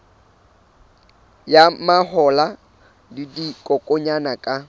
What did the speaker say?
ya mahola le dikokwanyana ka